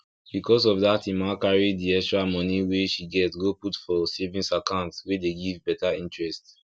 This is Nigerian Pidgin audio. because of dat emma carry di extra moni wey she get go put for savings account wey dey give better interest